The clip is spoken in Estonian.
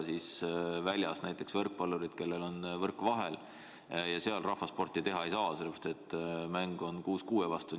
Aga näiteks võrkpallurid, kellel on võrk vahel, rahvasporti teha ei saa, sellepärast et mäng on kuus kuue vastu.